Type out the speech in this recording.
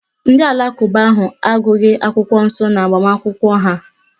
Ndị alakụba ahụ agụghị akwụkwọ nsọ n'agbamakwụkwọ ha